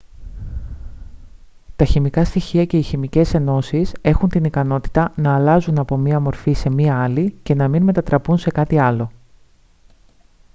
τα χημικά στοιχεία και οι χημικές ενώσεις έχουν την ικανότητα να αλλάζουν από μια μορφή σε μια άλλη και να μην μετατραπούν σε κάτι άλλο